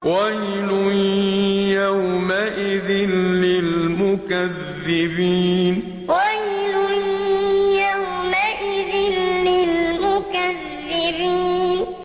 وَيْلٌ يَوْمَئِذٍ لِّلْمُكَذِّبِينَ وَيْلٌ يَوْمَئِذٍ لِّلْمُكَذِّبِينَ